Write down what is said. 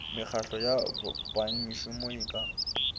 mekgahlo ya bengmešomo e ka